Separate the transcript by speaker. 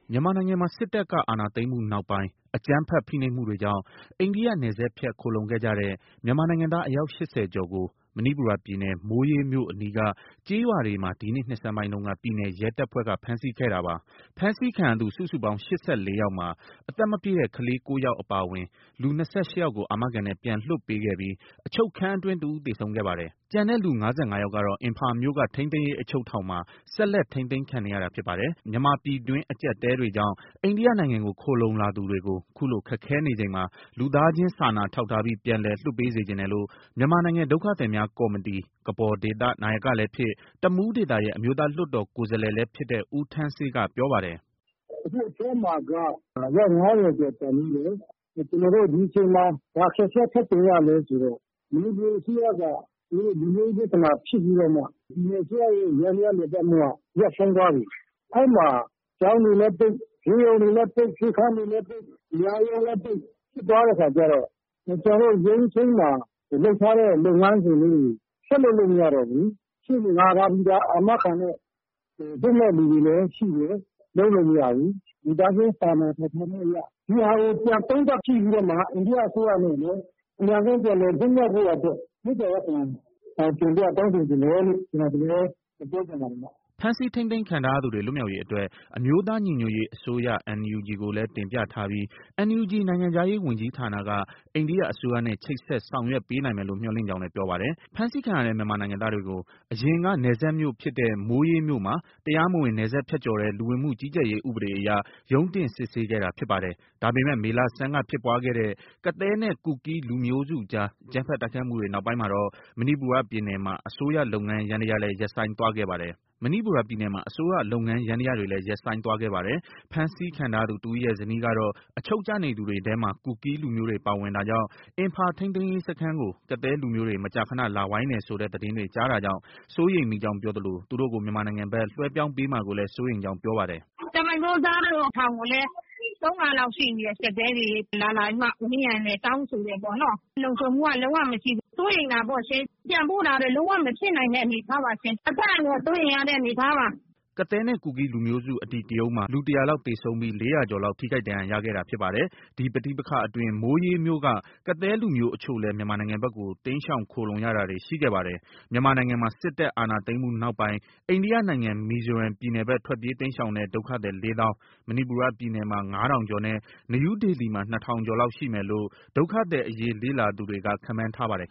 Speaker 1: မြန်မာနိုင်ငံမှာ စစ်တပ်က အာဏာသိမ်းမှုနောက်ပိုင်း အကြမ်းဖက် ဖိနှိပ်မှုတွေကြောင့် အိန္ဒိယနယ်စပ်ဖြတ် ခိုလှုံခဲ့ကြတဲ့ မြန်မာနိုင်ငံသား အယောက် ၈၀ ကျော်ကို မဏိပူရပြည်နယ်၊ မိုးရေးမြို့အနီးက ကျေးရွာတွေမှာ ဒီနှစ် နှစ်ဆန်းပိုင်းတုန်းက ပြည်နယ်ရဲတပ်ဖွဲ့က ဖမ်းဆီးခဲ့တာပါ။ ဖမ်းဆီးခံရသူ စုစုပေါင်း ၈၄ ယောက်မှာ အသက်မပြည့်တဲ့ ကလေး ၉ ယောက် အပါအဝင် လူ ၂၈ ယောက်ကို အာမခံနဲ့ ပြန်လွှတ်ပေးခဲ့ပြီး အချုပ်ခန်းအတွင်း တစ်ဦး သေဆုံးခဲ့ပါတယ်။ ကျန်တဲ့ လူ ၅၅ ယောက်ကတော့ အင်ဖာမြို့က ထိန်းသိမ်းရေး အချုပ်ထောင်မှာ ဆက်လက် ထိန်းသိမ်းခံနေရတာ ဖြစ်ပါတယ်။ မြန်မာပြည်တွင်း အကျပ်အတည်းတွေကြောင့် အိန္ဒိယနိုင်ငံကို ခိုလှုံလာသူတွေကို ခုလို ခက်ခဲနေချိန်မှာ လူသားချင်းစာနာထောက်ထားပြီး ပြန်လည်လွှတ်ပေး စေချင်တယ်လို့ မြန်မာနိုင်ငံ ဒုက္ခသည်များကော်မတီ နာယကလည်းဖြစ်၊ တမူးဒေသရဲ့ အမျိုးသား လွှတ်တော်ကိုယ်စားလှယ်လည်း ဖြစ်တဲ့ ဦးထန်းဆေးက ပြောပါတယ်
Speaker 2: ။ “ အခု အထဲမှာက အယောက် ၅၀ကျော်ကျန်သေးတယ်။ ကျနော်တို့ ဒီအချိန်မှာ ဘာအခက်အခဲ ထပ်ကြုံ ရလဲ ဆိုတော့ မဏိပူအစိုးရက သူတို့ လူမျိုးရေးပြဿနာဖြစ်ပြီးတော့မှ ပြည်နယ်အစိုးရရဲ့ ယန္တရားလည်ပတ်မှုက ရပ်ဆိုင်းသွားပြီ။ အဲဒီမှာ ကျောင်းတွေလည်းပိတ်၊ ဆေးရုံတွေလည်းပိတ်၊ ဆေးခန်းတွေလည်းပိတ်၊ တရားရုံးလည်း ပိတ်ဖြစ်သွားတဲ့အခါကျတော့ ကျနော်တို့ ရုံးချိန်းမှာ လုပ်ထားတဲ့ လုပ်ငန်းစဉ်လေးတွေ ဆက်လုပ်လို့ မရတော့ဘူး။ ရှေ့နေငှားထားပြီးသား အာမခံနဲ့ လွတ်မယ့်သူတွေလည်း ရှိတယ်။ လုပ်လို့ မရဘူး။ လူသားချင်းစာနာထောင်ထားမှုအရ ဒီဟာကို ပြန်သုံးသပ်ကြည့်ပြီးတော့မှ အိန္ဒိယအစိုးရအနေနဲ့ အမြန်ဆုံး ပြန်လည်လွတ်မြောက်ဖို့ရာအတွက် မေတ္တာရပ်ခံတင်ပြတောင်းဆိုချင်တယ်လို့ ကျနော် ဒီလိုပဲ ပြောချင်ပါတယ်ဗျ။”
Speaker 1: ဖမ်းဆီးထိန်းသိမ်းခံထားရသူတွေ လွတ်မြောက်ရေးအတွက် အမျိုးသား ညီညွတ်ရေးအစိုးရ NUG ကိုလည်း တင်ပြထားပြီး NUG နိုင်ငံခြားရေးဝန်ကြီးဌာနက အိန္ဒိယ အစိုးရနဲ့ ချိတ်ဆက် ဆောင်ရွက်ပေးနိုင်မယ်လို့ မျှော်လင့်ကြောင်းလည်း ပြောပါတယ်။ ဖမ်းဆီးခံရတဲ့ မြန်မာနိုင်ငံသားတွေကို အရင်က နယ်စပ်မြို့ဖြစ်တဲ့ မိုးရေးမြို့မှာ တရားမဝင်နယ်စပ်ဖြတ်ကျော်တဲ့ လူဝင်မှုကြီးကြပ်ရေးဥပဒေအရ ရုံးတင် စစ်ဆေးခဲ့တာ ဖြစ်ပါတယ်။ ဒါပေမဲ့ မေလဆန်းကဖြစ်ပွားခဲ့တဲ့ ကသည်းနဲ့ ကူကီးလူမျိုးစုတွေအကြား အကြမ်းဖက်တိုက်ခိုက်မှုတွေ နောက်ပိုင်းမှာတော့ မဏိပူရပြည်နယ်မှာ အစိုးရ လုပ်ငန်းယန္တရားတွေလည်း ရပ်ဆိုင်းသွားခဲ့ပါတယ်။ ဖမ်းဆီးခံထားရသူတစ်ဦးရဲ့ ဇနီးကတော့ အချုပ်ကျနေသူတွေထဲမှာ ကူကီးလူမျိုးတွေ ပါဝင်တာကြောင့် အင်ဖာထိန်းသိမ်းရေးစခန်းကို ကသည်းလူမျိုးတွေ မကြာခန လာဝိုင်းတယ်ဆိုတဲ့ သတင်းတွေ ကြားတာကြောင့် စိုးရိမ်မိကြောင်းပြောသလို သူတို့ကို မြန်မာနိုင်ငံဘက် လွှဲပြောင်းမှာကိုလည်း စိုးရိမ်ကြောင်း ပြောပါတယ်
Speaker 2: ။ “ ကျမ အမျိုးသားတို့ ထောင်ကိုလည်း ၃ခါလောက်ရှိပြီတဲ့။ ကသည်းတွေ လာလာပြီးမှ ဝိုင်းတယ်။ တောင်းဆိုတယ် ပေါ့နော်။ လုံခြုံမှုက လုံး၀ မရှိဘူး။ စိုးရိမ်တာပေါ့ရှင်။ ပြန်ပို့တာလည်း လုံးဝ မဖြစ်နိုင်တဲ့ အနေအထားပါရှင်။ အသက်အန္တရာယ် စိုးရိမ်ရတဲ့အနေအထားပါ။”
Speaker 1: ကသည်းနဲ့ ကူကီးလူမျိုးစု အဓိကရုဏ်းမှာ လူ ၁၀၀ လောက် သေဆုံးပြီး ၄၀၀ ကျော်လောက် ထိခိုက်ဒဏ်ရာရခဲ့တာ ဖြစ်ပါတယ်။ ဒီပဋိပက္ခအတွင်း မိုးရေးမြို့က ကသည်းလူမျိုးအချို့လည်း မြန်မာနိုင်ငံဘက်ကို တိမ်းရှောင်ခိုလှုံရတာတွေ ရှိခဲ့ပါတယ်။မြန်မာနိုင်ငံမှာ စစ်တပ် အာဏာသိမ်းမှုနောက်ပိုင်း အိန္ဒိယနိုင်ငံ မီဇိုရမ်ပြည်နယ်ဘက် ထွက်ပြေးတိမ်းရှောင်တဲ့ ဒုက္ခသည် ၄ သောင်း၊ မဏိပူရ ပြည်နယ်မှာ ၅ ထောင်ကျော်နဲ့ နယူးဒေလီမှာ ၂ ထောင်ကျော်လောက် ရှိမယ်လို့ ဒုက္ခသည်အရေး လေ့လာသူတွေက ခန့်မှန်းထားပါတယ်